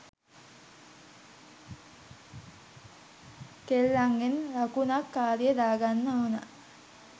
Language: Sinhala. කෙල්ලන්ගෙන් ලකුනක් කාරිය දාගන්න ඕනා